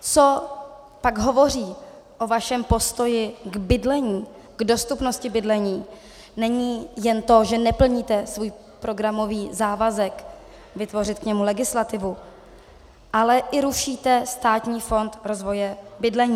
Co pak hovoří o vašem postoji k bydlení, k dostupnosti bydlení, není jen to, že neplníte svůj programový závazek vytvořit k němu legislativu, ale i rušíte Státní fond rozvoje bydlení.